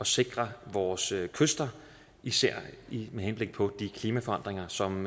sikre vores kyster især med henblik på de klimaforandringer som